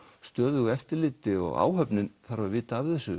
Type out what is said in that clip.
stöðugu eftirliti og áhöfnin þarf að vita af þessu